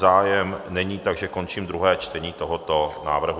Zájem není, takže končím druhé čtení tohoto návrhu.